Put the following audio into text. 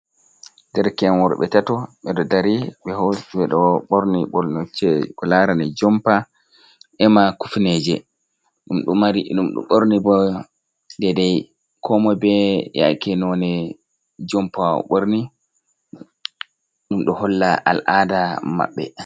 Ɗerke en worbe tato. Be ɗo ɗari be hosi beɗo borni bornucce Ko larane jompa ema kufneje. Ɗum ɗo borni bo ɗeɗai ko moi be yake none jompa o borni ɗum do holla al aɗa mabbe.